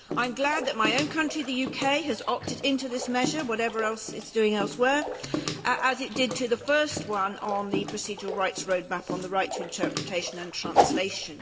I am glad that my own country, the UK, has opted into this measure, whatever else it is doing elsewhere, as it did with the first one on the procedural rights road map on the right to interpretation and translation.